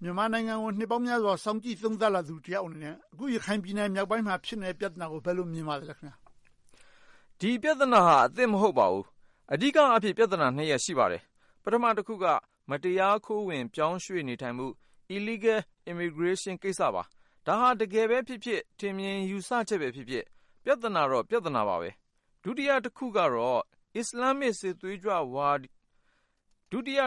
မြန်မာနိုင်ငံကို နှစ်ပေါင်းများစွာ စောင့်ကြည့်သုံးသပ်လာသူတယောက်အနေနဲ့ အခု ရခိုင်ပြည်နယ်မြောက်ပိုင်းမှာ ဖြစ်နေတဲ့ ပြဿနာကို ဘယ်လို မြင်ပါသလဲ။ ဒီပြဿနာဟာ အသစ်မဟုတ်ပါဘူး။ အဓိကအားဖြင့် ပြဿနာနှစ်ရပ် ရှိပါတယ်။ ပထမတခုက မတရားခိုးဝင် ပြောင်းရွှေ့နေထိုင်မှု - Illegal Immigration ကိစ္စပါ။ ဒါဟာ တကယ်ပဲဖြစ်ဖြစ် ထင်မြင်ယူဆချက်ပဲဖြစ်ဖြစ် ပြဿနာတော့ ပြဿနာပါပဲ။ ဒုတိယတခုကတော့ အစ္စလာမ်စစ်သွေးကြွဝါဒပါ။ သြဂုတ်လ ရက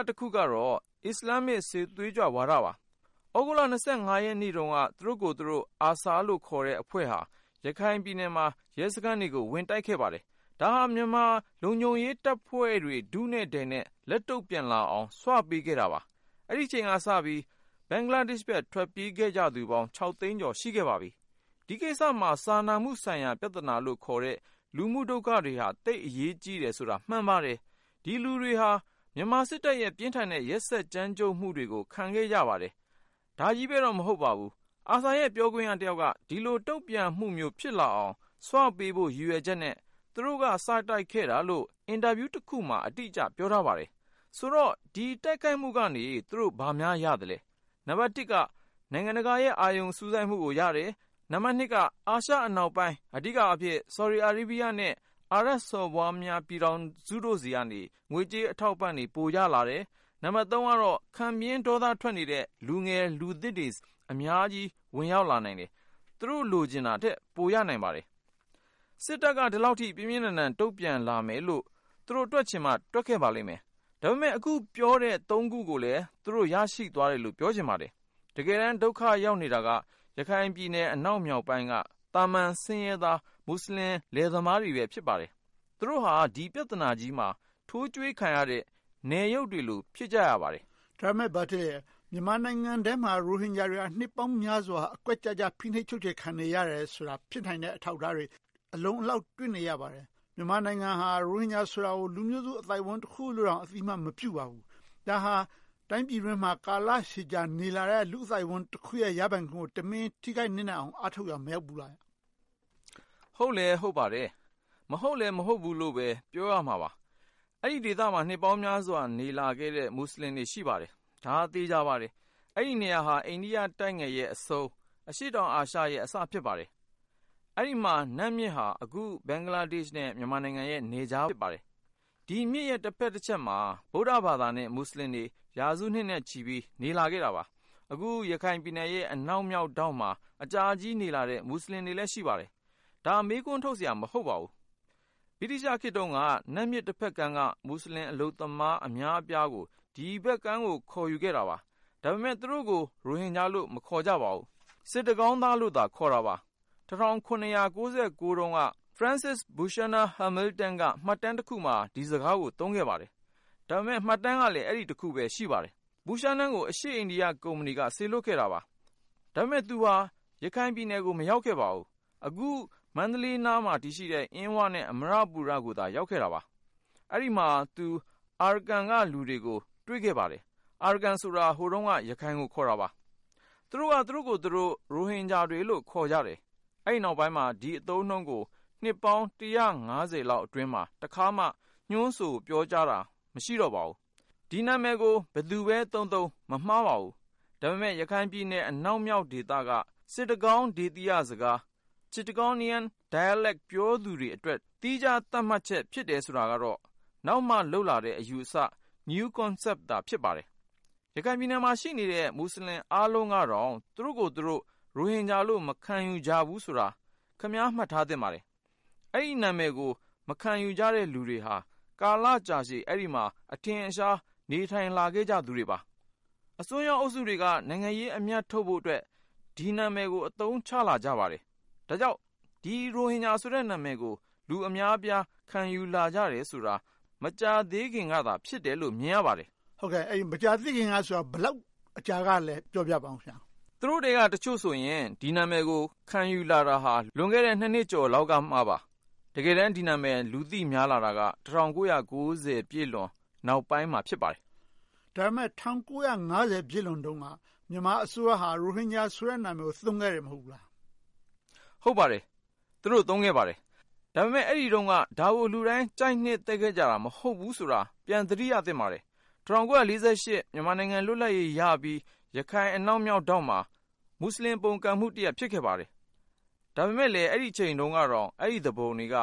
်နေ့တုန်းက သူတို့ကိုယ်သူတို့ ARSA လို့ခေါ်တဲ့ အဖွဲ့ဟာ ရခိုင်ပြည်နယ်မှာ ရဲစခန်းတွေကို ဝင်ရောက်တိုက်ခဲ့ပါတယ်။ ဒါဟာ မြန်မာလုံခြုံရေးတပ်ဖွဲ့တွေ ထုနဲ့ထည်နဲ့ လက်တုံ့ပြန်လာအောင် ဆွပေးခဲ့တာပါ။ အဲဒီအချိန်ကစပြီး ဘင်္ဂလားဒေ့ရှ်ဘက် ထွက်ပြေးခဲ့ကြသူပေါင်း သိန်းကျော် ရှိခဲ့ပါပြီ။ ဒီကိစ္စမှာ စာနာမှုဆိုင်ရာ ပြဿနာလို့ခေါ်တဲ့ လူမှုဒုက္ခတွေဟာ သိပ်အရေးကြီးတယ်ဆိုတာ မှန်ပါတယ်။ ဒီလူတွေဟာ မြန်မာစစ်တပ်ရဲ့ ပြင်းထန်တဲ့ ရက်စက်ကြမ်းကြုတ်မှုတွေကို ခံခဲ့ကြရပါတယ်။ ဒါကြီးပဲတော့ မဟုတ်ပါဘူး။ ARSA ရဲ့ ပြောခွင့်ရတယောက်က ဒီလိုတုံ့ပြန်မှုမျိုး ဖြစ်လာအောင် ဆွပေးဖို့ ရည်ရွယ်ချက်နဲ့ သူတို့က စတိုက်ခဲ့တာလို့ အင်တာဗျူးတခုမှာ အတိအကျ ပြောထားပါတယ်။ ဆိုတော့ ဒီတိုက်ခိုက်မှုကနေ သူတို့ဘာများ ရပါသလဲ။ နံပတ်တစ်က နိုင်ငံတကာရဲ့ အာရုံစူးစိုက်မှုကိုရတယ်။ နံပတ်နှစ်က အာရှအနောက်ပိုင်း အဓိကအားဖြင့် Saudi Arabia နဲ့ အာရပ်စော်ဘွားများ ပြည်ထောင်စုတို့ဆီကနေ ငွေကြေးအထောက်အပံ့တွေ ပိုရလာတယ်။ နံပတ်သုံးကတော့ ခံပြင်းဒေါသထွက်နေတဲ့ လူငယ်လူသစ်တွေ အများကြီး ဝင်ရောက်လာနိုင်တယ်။ သူတို့ လိုချင်တာထက် ပိုရနိုင်ပါတယ်။ စစ်တပ်က ဒီလောက်အထိ ပြင်းပြင်းထန်ထန် တုံ့ပြန်လာမယ်လို့ သူတို့တွက်ချင်မှ တွက်ပါလိမ့်မယ်။ ဒါပေမဲ့ အခုပြောတဲ့ သုံးခုကိုလည်း သူတို့ ရရှိသွားတယ်လို့ ပြောချင်ပါတယ်။ တကယ်တမ်း ဒုက္ခရောက်နေတာက ရခိုင်ပြည်နယ် အနောက်မြောက်ပိုင်းက သာမန်ဆင်းရဲသား မူစလင်လယ်သမားတွေပဲ ဖြစ်ပါတယ်။ သူတို့ဟာ ဒီပြဿနာကြီးမှာ ထိုးကျွေးခံရတဲ့ အရုပ်တွေလို့ ဖြစ်ပါတယ်။ ဒါပေမဲ့ မြန်မာနိုင်ငံထဲမှာ ရိုဟင်ဂျာတွေက နှစ်ပေါင်းများစွာ အကွက်ကျကျ ဖိနှိပ်ချုပ်ချယ်ခံနေရတယ်ဆိုတာ ဖြစ်နိုင်တဲ့ အထောက်အထားတွေ အလုံအလောက် တွေ့နေရပါတယ်။ မြန်မာနိုင်ငံဟာ ရိုဟင်ဂျာဆိုတာကို လူမျိုးစုအသိုင်းအဝိုင်း တခုလို့တောင် အသိအမှတ်မပြုပါဘူး။ ဒါဟာ တိုင်းပြည်အတွင်းမှာ ကာလရှည်ကြာ နေလာတဲ့ လူ့အသိုက်အဝန်းတခုရဲ့ ရပိုင်ခွင့်ကို တမင်ထိခိုက်နစ်နာအောင် အားထုတ်ရာ မရောက်ဘူးလား။ ဟုတ်လဲဟုတ်ပါတယ်။ မဟုတ်လဲ မဟုတ်ဘူးလို့လဲ ပြောရမှာပါ။ အဲဒီဒေသမှာ နှစ်ပေါင်းများစွာ နေလာခဲ့တဲ့ မူစလင်တွေ ရှိပါတယ်။ ဒါဟာ သေချာပါတယ်။ အဲဒီနေရာဟာ အိန္ဒိယတိုက်ငယ်ရဲ့အဆုံး အရှေ့တောင်အာရှရဲ့ အစဖြစ်ပါတယ်။ အဲဒီမှာ နတ်မြစ်ဟာ အခု ဘင်္ဂလားဒေ့ရှ်နဲ့ မြန်မာနိုင်ငံရဲ့ နယ်ခြား ဖြစ်ပါတယ်။ ဒီမြစ်ရဲ့ တဘက်တချက်မှာ ဗုဒ္ဓဘာသာနဲ့ မူစလင်တွေ ရာစုနှစ်နဲ့ချီပြီး နေလာခဲ့တာပါ။ အခု ရခိုင်ပြည်နယ်ရဲ့ အနောက်မြောက်ထောင့်မှာ အကြာကြီးနေလာတဲ့ မူစလင်တွေလည်း ရှိပါတယ်။ ဒါ မေးခွန်းထုတ်စရာ မဟုတ်ပါဘူး။ ဗြိတိသျှခေတ်တုန်းက နတ်မြစ်တဘက်ကမ်းက မူစလင်အလုပ်သမား အများအပြားကို ဒီဘက်ကမ်းကို ခေါ်ယူခဲ့တာပါ။ ဒါပေမဲ့ သူတို့ကို ရိုဟင်ဂျာလို့ မခေါ်ကြပါဘူး။ စစ်တကောင်းသားလို့သာ ခေါ်တာပါ။ ၁၇၉၉ တုန်းက ဖရစ်စစ် ဘူရှာနာ ဟာမေလ်တန် က မှတ်တမ်းတခုမှာ ဒီစကားကို သုံးခဲ့ပါတယ်။ ဒါပေမဲ့ မှတ်တမ်းကလည်း အဲဒီတခုပဲ ရှိပါတယ်။ ဘူရှာနာ ကို အရှေ့အိန္ဒိယကုမ္ပဏီက စေလွှတ်ခဲ့တာပါ။ ဒါပေမဲ့ သူဟာ ရခိုင်ပြည်နယ်ကို မရောက်ခဲ့ပါဘူး။ အခု မန္တလေးနားမှာ တည်ရှိတဲ့ အင်းဝနဲ့ အမ္မရပူရကိုသာ ရောက်ခဲ့တာပါ။ အဲဒီမှာ သူက Arakan က လူတွေကို တွေ့ခဲ့ပါတယ်။ Arakan ဆိုတာ ဟိုတုန်းက ရခိုင်ကို ခေါ်တာပါ။ သူတို့က သူတို့ကိုယ်သူတို့ ရိုဟင်ဂျာတွေလို့ ခေါ်ကြတယ်။ အဲဒီနောက်ပိုင်းမှာ ဒီအသုံးအနှုန်းကို နှစ်ပေါင်း လောက်အတွင်းမှာ တခါမှ ညွှန်းဆိုပြောကြားတာ မရှိတော့ပါဘူး။ ဒီနာမည်ကို ဘယ်သူပဲသုံးသုံး မမှားပါဘူး။ ဒါပေမဲ့ ရခိုင်ပြည်နယ် အနောက်မြောက်ဒေသက စစ်တကောင်းဒေသီရစကား Chittagonian dialect ပြောသူတွေအတွက် သီခြားသတ်မှတ်ချက် ဖြစ်တယ်ဆိုတာကတော့ နောက်မှလုပ်လာတဲ့ အယူအဆ New Concept သာ ဖြစ်ပါတယ်။ ရခိုင်ပြည်နယ်မှာ ရှိနေတဲ့ အားလုံးကတော့ သူတို့ကိုယ်သူတို့ ရိုဟင်ဂျာလို့ မခံယူကြဘူးဆိုတာ ခင်များ မှတ်သားထားသင့်ပါတယ်။ အဲဒီနာမည်ကို မခံယူကြတဲ့ လူတွေဟာ ကာလကြာရှည် အဲဒီမှာ အထင်အရှား နေထိုင်လာကြသူတွေပါ။ အစွန်းရောက်အုပ်စုတွေက နိုင်ငံရေးအမြတ်ထုတ်ဖို့အတွက် ဒီနာမည်ကို အသုံးချလာကြပါတယ်။ ဒါကြောင့် ရိုဟင်ဂျာဆိုတဲ့ နာမည်ကို လူအများအပြား ခံယူလာကြတယ်ဆိုတာ မကြာသေးခင်ကသာ ဖြစ်တယ်ဆိုတာကို မြင်ရပါတယ်။ ဟုတ်ကဲ့.. အဲဒီမကြာသေးခင်ကဆိုတာ ဘယ်လောက်အကြာတုန်းကလဲ ပြောပြပါအုံး။ သူတို့ထဲက တချို့ဆိုရင် ဒီနာမည်ကို ခံယူလာတာ လွန်ခဲ့တဲ့ နှစ်ကျော်လောက်ကပါ။ တကယ်တမ်း ဒီနာမည် လူသိများလာတာက ၁၉၉၀ ပြည့်လွန်နောက်ပိုင်းမှာ ဖြစ်ပါတယ်။ ဒါပေမဲ့ ၁၉၅၀ ပြည့်လွန်တုန်းက မြန်မာအစိုးရဟာ ရိုဟင်ဂျာဆိုတဲ့ နာမည်ကို သုံးခဲ့တယ် မဟုတ်ဘူးလား။ ဟုတ်ပါတယ်။ သူတို့ သုံးခဲ့ပါတယ်။ ဒါပေမဲ့ အဲဒီတုန်းက ဒါကို လူတိုင်း ကြိုက်နှစ်သက်ခဲ့ကြတာ မဟုတ်ဘူးဆိုတာ ပြန်သတိရသင့်ပါတယ်။ ၁၉၄၈ မြန်မာနိုင်ငံ လွတ်လပ်ရေးရပြီး ရခိုင်အနောက်မြောက်ထောင့်မှာ မူစလင် ပုန်ကန်မှုတရပ် ဖြစ်ခဲ့ပါတယ်။ ဒါပေမဲ့ အဲဒီအချိန်တုန်းကတောင် အဲဒီသူပုန်တွေက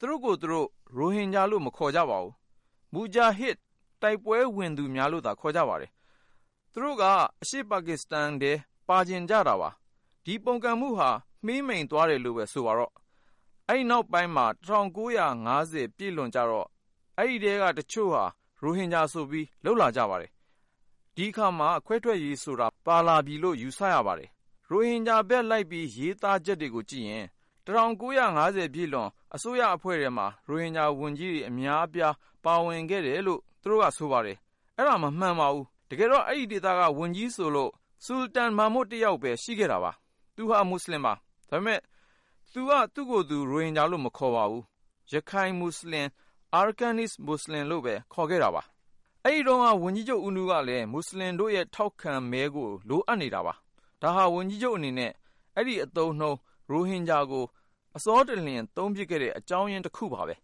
သူတို့ကိုယ်သူတို့ ရိုဟင်ဂျာလို့ မခေါ်ကြပါဘူး။ မူဂျာဟစ် တိုက်ပွဲဝင်ကြသူများလို့သာ ခေါ်ကြပါတယ်။ သူတို့က အရှေ့ပါကစ္စတန်ထဲ ပါချင်ကြတာပါ။ ဒီပုန်ကန်မှုဟာ မှေးမှိန်သွားတယ်လို့ပဲ ဆိုပါစို့။ အဲဒီနောက်ပိုင်းမှာ ၁၉၅၀ ပြည့်လွန်ကြတော့ အဲဒီထဲက တချို့က ရိုဟင်ဂျာဆိုပြီး လုပ်လာကြပါတယ်။ ဒီအခါမှာ ခွဲထွက်ရေးဆိုတာ ပါလာပြီလို့ ယူဆရပါတယ်။ ရိုဟင်ဂျာဘက်လိုက်ပြီး ရေးသားချက်တွေကိုကြည့်ရင် ၁၉၅၀ ပြည့်လွန်အစိုးရထဲမှာ ရိုဟင်ဂျာဝန်ကြီးတွေ အများအပြား ပါဝင်ခဲ့တယ်လို့ သူတို့က ဆိုပါတယ်။ အဲဒါ တကယ်တော့ မမှန်ပါဘူး။ တကယ်တော့ အဲဒီဒေသက ဝန်ကြီးဆိုလို့ ဆူလတန် မာမွတ် တယောက်ပဲ ရှိခဲ့တာပါ။ သူဟာ မူစလင်ပါ။ ဒါပေမဲ့ သူဟာ သူ့ကိုယ်သူ ရိုဟင်ဂျာလို့ မခေါ်ပါဘူး။ ရခိုင်-မူစလင် Arakanese Muslim လို့ပဲ ခေါ်ခဲ့တာပါ။ အဲဒီတုန်းက ဝန်ကြီးဦးနုကလည်း မူစလင်တို့ရဲ့ ထောက်ခံမဲကို လိုအပ်နေတာပါ။ ဒါဟာ ဝန်ကြီးချုပ်အနေနဲ့ အဲဒီအသုံးအနှုန်း ရိုဟင်ဂျာကို အစောတလင် အသုံးပြုခဲ့တဲ့ အကြောင်းရင်းတခုပါပဲ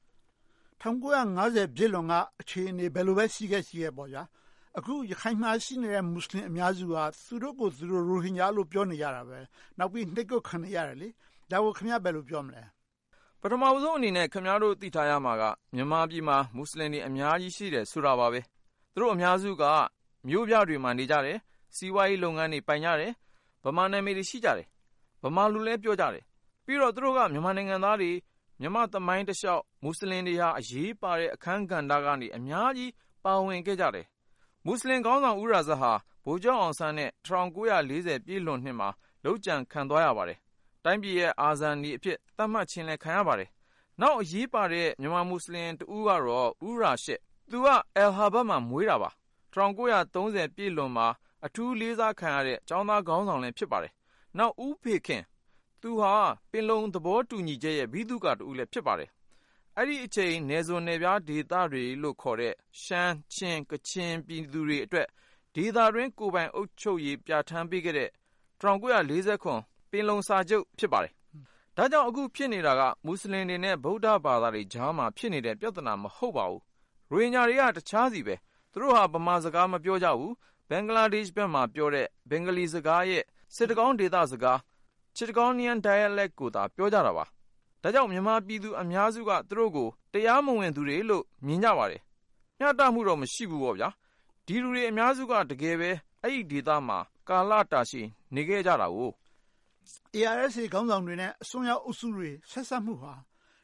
။ ၁၉၅၀ ပြည့်လွန်က အခြေအနေ ဘယ်လိုပဲ ရှိခဲ့ရှိခဲ့ပါ။ အခု ရခိုင်မှာရှိနေတဲ့ မူစလင် အများစုဟာ သူတို့ကိုယ်သူတို့ ရိုဟင်ဂျာလို့ ပြောနေကြတယ်။ နောက်ပြီး နှိပ်ကွပ်ခံနေကြတယ်။ ဒါကို ခင်များ ဘယ်လို ပြောမလဲ။ ပထမဦးဆုံးအနေနဲ့ ခင်များတို့ သိထားရမှာက မြန်မာပြည်မှာ မူစလင်တွေ အများကြီး ရှိတယ်ဆိုတာပါပဲ။ သူတို့အများစုက မြို့ပြတွေမှာ နေကြတယ်။ စီးပွားရေးလုပ်ငန်းတွေ ပိုင်ကြတယ်။ ဗမာနာမည်တွေ ရှိကြတယ်။ ဗမာလိုလည်း ပြောကြတယ်။ ပြီးတော့ သူတို့က မြန်မာနိုင်ငံသားတွေ၊ မြန်မာ့သမိုင်းတလျှောက် မူစလင်တွေဟာ အရေးပါတဲ့ အခန်းကဏ္ဍကနေ အများကြီး ပါဝင်ခဲ့ကြတယ်။ မူစလင်ခေါင်းဆောင် ဦးရာဇတ်ဟာ ဗိုလ်ချုပ်အောင်ဆန်းနဲ့ ၁၉၄၀ ပြည့်လွန်နှစ်မှာ လုပ်ကြံခံသွားရပါတယ်။ တိုင်းပြည်ရဲ့ အာဇာနည်အဖြစ် သတ်မှတ်ခြင်းလည်း ခံရပါတယ်။ နောက် အရေးပါတဲ့ မူစလင်တဦးကတော့ ဦးရာရှစ် သူက အဲလ်ဟာဗတ်မှာ မွေးတာပါ။ ၁၉၃၀ ပြည့်လွန်မှာ အထူးလေးစားခံရတဲ့ ကျောင်းသားခေါင်းဆောင်လည်း ဖြစ်ပါတယ်။ နောက် ဦးဖေခင် - သူက ပင်လုံသဘောတူညီချက်ရဲ့ ဗိသုကာတဦးလည်း ဖြစ်ပါတယ်။ အဲဒီအချိန် နယ်စွန်းနယ်ဖျားဒေသတွေလို့ခေါ်တဲ့ ရှမ်း၊ ချင်း၊ ကချင်ပြည်သူတွေအတွက် ဒေသတွင်း ကိုယ်ပိုင်ပြဌာန်းပေးခဲ့တဲ့ ၁၉၄၇ ပင်လုံစာချုပ် ဖြစ်ပါတယ်။ ဒါကြောင့် အခုဖြစ်နေတာက မူစလင်တွေနဲ့ ဗုဒ္ဓဘာသာတွေကြားမှာ ဖြစ်နေတဲ့ ပြဿနာ မဟုတ်ပါဘူး။ ရိုဟင်ဂျာတွေက တခြားဆီပါ။ သူတို့ဟာ ဗမာစကား မပြောကြဘူး။ ဘင်္ဂလားဒေ့ရှ်ဘက်မှာ ပြောတဲ့ ဘင်္ဂလီစကားရဲ့ စစ်တကောင်းဒေသစကား Chittagonian dialect ကိုသာ ပြောကြတာပါ။ ဒါကြောင့် မြန်မာပြည်သူ အများစုက သူတို့ကို တရားမဝင်သူတွေလို့ မြင်ကြပါတယ်။ မျှတမှုတော့ မရှိဘူးပေါ့။ ဒီလူတွေ အများစုက တကယ်ပဲ အဲဒီဒေသမှာ ကာလတာရှည် နေခဲ့ကြတယ်ကို။ ARSA ခေါင်းဆောင်တွေနဲ့ အစွန်းရောက်အုပ်စုတွေ ဆက်စပ်မှုဟာ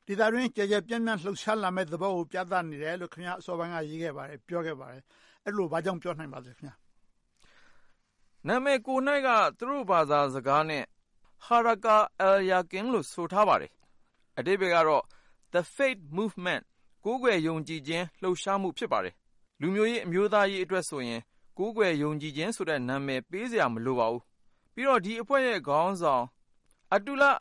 ဒေသတွင်း ကျယ်ကျယ်ပြန့်ပြန့် လှုပ်ရှားလာမယ့်သဘောကို ပြသနေတယ်လို့ ခင်များ အစောပိုင်းက ရေးခဲ့ပါတယ်။ ပြောခဲ့ပါတယ်။ အဲဒီလို ဘာကြောင့် ပြောနိုင်ပါလဲ။ နာမည်ကိုယ်က သူတို့ဘာသာစကားနဲ့ Harakat al-Yaqin လို့ ဆိုထားပါတယ်။ အဓိပ္ပါယ်ကတော့ The Faith Movement ကိုးကွယ်ယုံကြည်ခြင်း လှုပ်ရှားမှု ဖြစ်ပါတယ်။ လူမျိုးရေး၊ အမျိုးသားရေးအတွက်ဆိုရင် ကိုးကွယ်ယုံကြည်ခြင်း နာမည်ပေးစရာ မလိုပါဘူး။ ပြီးတော့ ဒီအဖွဲ့ရဲ့ခေါင်းဆောင် Ata Ullah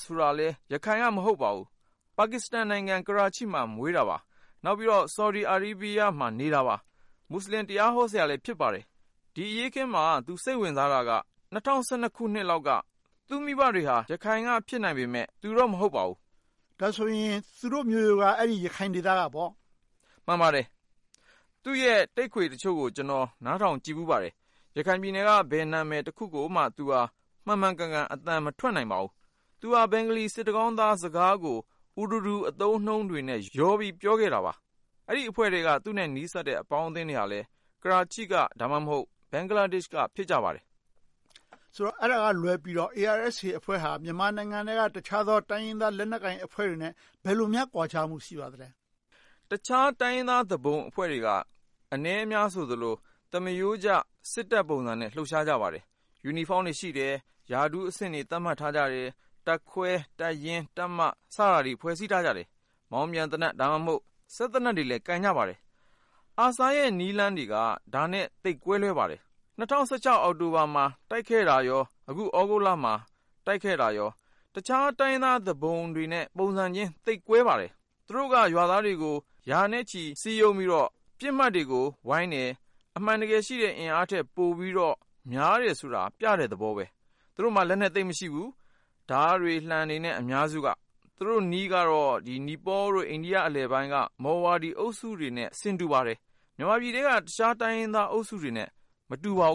ဆိုရင်လည်း ရခိုင်က မဟုတ်ပါဘူး။ ပါကစ္စတန်နိုင်ငံ ကရားချီးမှာ မွေးသူပါ။ နောက်ပြီးတော့ ဆော်ဒီ အာရေးဗီရားမှာ နေတာပါ။ မူစလင်တရားဟောဆရာလည်း ဖြစ်ပါတယ်။ ဒီအရေးအခင်းမှာ သူစိတ်ဝင်စားတာက ၂၀၁၂ ခုနှစ်လောက်က သူ့မိဘတွေက ရခိုင်က ဖြစ်နိုင်ပေမယ့် သူတော့ မဟုတ်ပါဘူး။ ဒါဆိုရင် သူတို့မျိုးရိုးက ရခိုင်ဒေသကပေါ့။ မှန်ပါတယ်။ သူ့ရဲ့ တိပ်ခွေတချို့ကို ကျနော် နားထောင်ကြည့်ဖူးပါတယ်။ ရခိုင်ပြည်နယ်က ဘယ်နာမည်တခုကိုမှ သူက မှန်မှန်ကန်ကန် အသံမထွက်နိုင်ပါဘူး။ သူက ဘင်္ဂလီ စစ်တကောင်းသားစကားကို Urdu အသုံးအနှုန်းတွေနဲ့ ရောနှောပြောခဲ့တာပါ။ အဲဒီအဖွဲ့ထဲက သူနဲ့နီးစပ်တဲ့ အပေါင်းအသင်းတွေကလည်း ကရားချီးက ဒါမှမဟုတ် ဘင်္ဂလားဒေ့ရှ်က ဖြစ်ကြပါတယ်။ ဆိုတော့ အဲဒါကလွဲပြီးတော့ ARSA အဖွဲ့ဟာ မြန်မာနိုင်ငံထဲက တခြားသော တိုင်းရင်းသားလက်နက်ကိုင်အဖွဲ့တွေနဲ့ ဘယ်လိုများ ကွာခြားမှု ရှိပါသလဲ။ တခြားတိုင်းရင်းသား သူပုန်အဖွဲ့တွေက အနည်းအများဆိုသလို သမားရိုးကျ စစ်တပ်ပုံစံနဲ့ လှုပ်ရှားကြပါတယ်။ ယူနီဖောင်းတွေရှိတယ်။ ရာထူးအဆင့်တွေ သတ်မှတ်ထားကြတယ်။ တပ်ခွဲ၊ တပ်ရင်း၊ တပ်မ စတာတွေ ဖွဲ့စည်းထားကြတယ်။ မောင်းပြန်သေနတ်၊ စက်သေနတ်တွေလည်း ကိုင်ကြပါတယ်။ ARSA ရဲ့ နည်းလမ်းတွေက ဒါနဲ့ သိပ်ကွဲလွဲပါတယ်။ ၂၀၁၆ အောက်တိုဘာမှာ တိုက်ခိုက်တာနဲ့ အခု သြဂုတ်လမှာ တိုက်ခဲ့တာတွေက တခြားတိုင်းရင်းသား သူပုန်တွေနဲ့ ပုံစံချင်း သိပ်ကွဲပါတယ်။ သူတို့က ရွာသားတွေကို ရာနဲ့ချီ စည်းရုံးပြီးတော့ ပစ်မှတ်တွေကို ဝိုင်းတယ်။ အမှန်တကယ်ရှိတဲ့ အင်အားထက်ပိုပြီးတော့ များတယ်ဆိုတာ ပြတဲ့သဘောပါ။ သူတို့မှာ လက်နက်သိပ်မရှိဘူး။ ဓါးတွေ၊ လံှတွေ အများစုက။ သူတို့နည်းကတော့ နီပေါလ် နဲ့ အိန္ဒိယ အလယ်ပိုင်းက မော်ဝါဒီ အုပ်စုတွေနဲ့ ဆင်တူပါတယ်။ မြန်မာပြည်ထဲက တခြားတိုင်းရင်းသားအုပ်စုတွေထက် မတူပါဘူ